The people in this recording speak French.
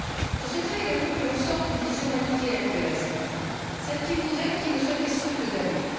Je souhaiterais également que l'on sorte d'une vision manichéenne de l'asile, celle qui voudrait qu'il ne soit question que d'abus.